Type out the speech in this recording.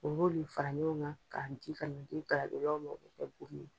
U b'olu le fara ɲɔgɔn kan, ka di ka na di galadonnaw maa